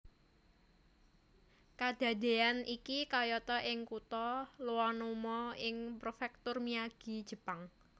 Kadadéyan iki kayata ing kutha Iwanuma ing Prefektur Miyagi Jepang